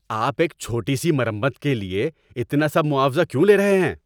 آپ ایک چھوٹی سی مرمت کے لیے اتنا سب معاوضہ کیوں لے رہے ہیں؟